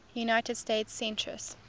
united states census